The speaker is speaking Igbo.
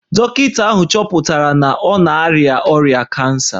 Dọkịta ahụ chọpụtara na ọ na-arịa ọrịa kansa